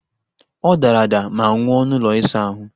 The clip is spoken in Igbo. Ọ dara ada ma nwụọ n'ụlọ ịsa ahụ!